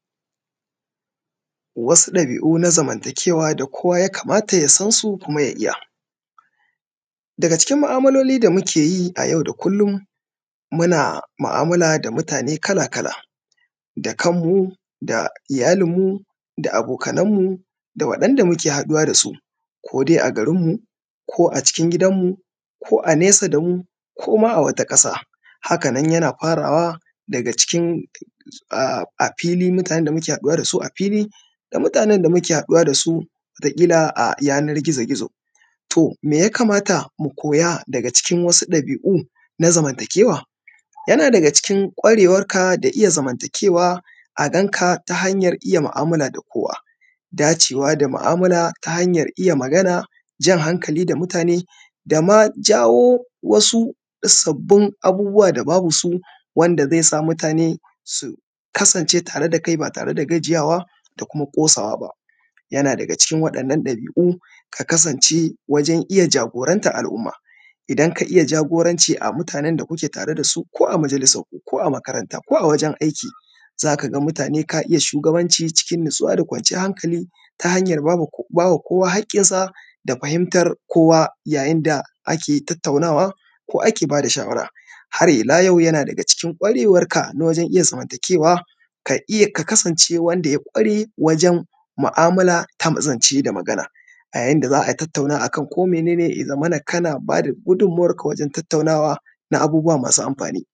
Wasu ɗabi’u na zamantakewa da koya ya kamata ya san su kuma ya iya. Daga cikin ma’amaloli da muke yi a yau da kullum muna da mu’amala da mutane kala kala, da kan mu, da iyalinmu, da abokanan mu, da waɗanda muke haɗuwa dasu ko dai a garinmu ko a cikin gidanmu ko a nesa damu koma a wata ƙasa, haka nan yana farawa daga cikin a afili mutanen da muke haɗuwa dasu a fili da mutanen da muke haɗuwa dasu a wata kila a yana gizo-gizo. To me ya kamata mu koya daga cikin wasu ɗabi’u na zamantakewa? Yana daga cikin kwarewarka da iya zamantakewa a ganka ta hanyar iya mu’amala da kowa, dacewa da mu’amala ta hanyar iya magana, jan hankali da mutane dama jawo wasu sabbin abubuwa da babu su wanda zai sa mutane su kasance da kai ba tare da gajiyawa da kuma ƙosawa ba, yana daga cikin wa’innan ɗabi’u ya kasance da kuma kosawa ba. Yana daga cikin wa’innan ɗabi’u ka kasance wajen iya jagorantan al’umma, idan ka iya jagoranci a mutanen da kuke tare dasu to ko a majalisanku, ko a makaranta, ko a wajen aiki zaka ga mutane ka iya shugabanci cikin natsuwa da kwanciyar hankali ta hanya bama kowa haƙinsa da fahimtar kowa ya yin da ake tattaunawa ko ake bada shawara. Har ila yau yana daga cikin kwarewarka na wajen iya zamantakewa ka iya, ka kasance wanda ya kware wajen mu’amala ta zance da magana, a ya yin da za a tattauna akan ko mene ne ya zamana kana bada gummuwarka wajen tattaunawa na abubuwa masu amfani.